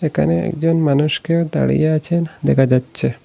একানে একজন মানুষকে দাঁড়িয়ে আছেন দেখা যাচ্চে।